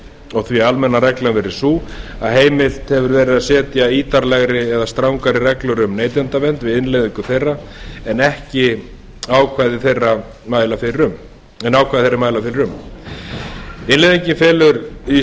og því almenna reglan verið sú að heimilt hefur verið að setja ítarlegri eða strangari reglur um neytendavernd við innleiðingu þeirra en ákvæði þeirra mæla fyrir um innleiðingin felur í